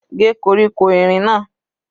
Gé koríko erin náà.